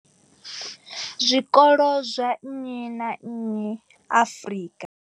Zwikolo zwa nnyi na nnyi Afrika.